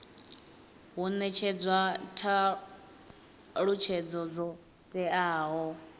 hu netshedzwa thalutshedzo dzo teaho